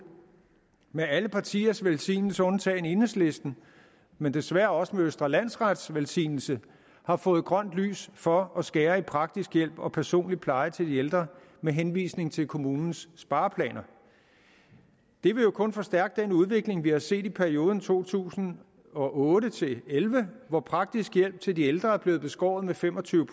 med alle partiers velsignelse undtagen enhedslistens men desværre også med østre landsrets velsignelse har fået grønt lys for at skære ned i praktisk hjælp og personlig pleje til de ældre med henvisning til kommunens spareplaner det vil jo kun forstærke den udvikling vi har set i perioden to tusind og otte til elleve hvor praktisk hjælp til de ældre er blevet beskåret med fem og tyve